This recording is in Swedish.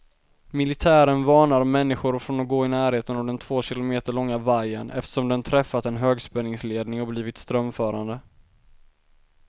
Militären varnar människor från att gå i närheten av den två kilometer långa vajern, eftersom den träffat en högspänningsledning och blivit strömförande.